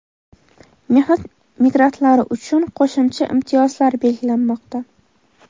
Mehnat migrantlari uchun qo‘shimcha imtiyozlar belgilanmoqda.